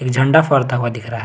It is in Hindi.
झंडा फहरता हुआ दिख रहा है।